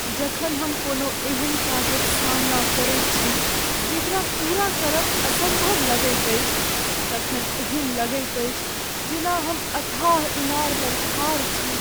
जखन हम कोनो एहन काजक सामना करैत छी जेकरा पूरा करब असम्भव लगैत अछि तखन एहन लगैत अछि जेना हम अथाह इनार लग ठाढ़ छी।